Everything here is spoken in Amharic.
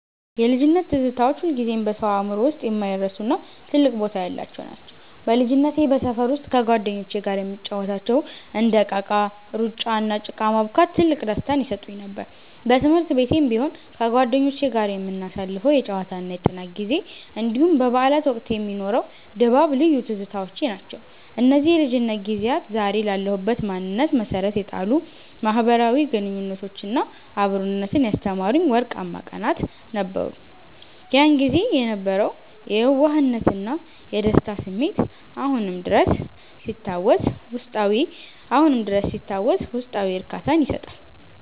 የልጅነት ትዝታዎች ሁልጊዜም በሰው አእምሮ ውስጥ የማይረሱና ትልቅ ቦታ ያላቸው ናቸው። በልጅነቴ በሰፈር ውስጥ ከጓደኞቼ ጋር የምንጫወታቸው እንደ እቃቃ፣ ሩጫ፣ እና ጭቃ ማቡካት ትልቅ ደስታን ይሰጡኝ ነበር። በትምህርት ቤትም ቢሆን ከጓደኞቼ ጋር የምናሳልፈው የጨዋታና የጥናት ጊዜ፣ እንዲሁም በበዓላት ወቅት የሚኖረው ድባብ ልዩ ትዝታዎቼ ናቸው። እነዚህ የልጅነት ጊዜያት ዛሬ ላለሁበት ማንነት መሠረት የጣሉ፣ ማኅበራዊ ግንኙነትንና አብሮነትን ያስተማሩኝ ወርቃማ ቀናት ነበሩ። ያን ጊዜ የነበረው የየዋህነትና የደስታ ስሜት አሁንም ድረስ ሲታወስ ውስጣዊ እርካታን ይሰጣል።